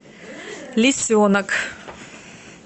лисенок